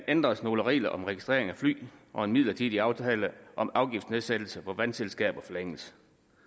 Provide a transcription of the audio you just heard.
ændres nogle regler om registrering af fly og en midlertidig aftale om afgiftsnedsættelse på vandselskaber forlænges